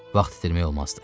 Vaxt itirmək olmazdı.